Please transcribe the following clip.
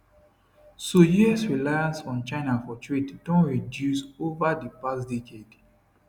so us reliance on china for trade don reduce ova di past decade